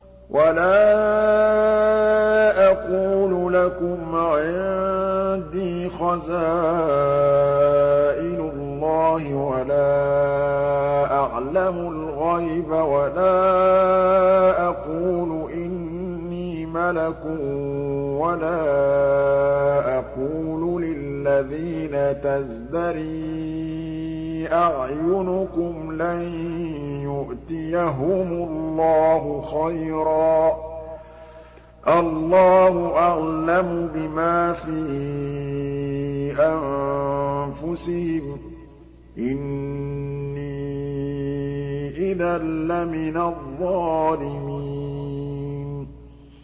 وَلَا أَقُولُ لَكُمْ عِندِي خَزَائِنُ اللَّهِ وَلَا أَعْلَمُ الْغَيْبَ وَلَا أَقُولُ إِنِّي مَلَكٌ وَلَا أَقُولُ لِلَّذِينَ تَزْدَرِي أَعْيُنُكُمْ لَن يُؤْتِيَهُمُ اللَّهُ خَيْرًا ۖ اللَّهُ أَعْلَمُ بِمَا فِي أَنفُسِهِمْ ۖ إِنِّي إِذًا لَّمِنَ الظَّالِمِينَ